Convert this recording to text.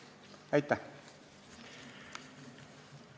Aitäh!